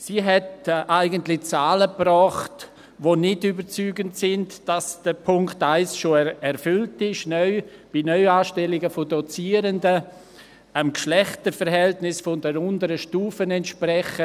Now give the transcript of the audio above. Sie hat eigentlich Zahlen gebracht, die bei Neuanstellungen von Dozierenden dem Geschlechterverhältnis der unteren Stufe entsprechen, die nicht überzeugend sind, wonach der Punkt 1 schon erfüllt sei.